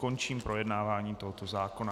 Končím projednávání tohoto zákona.